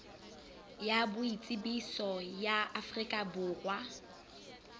ya boitsebiso ya afrika borwa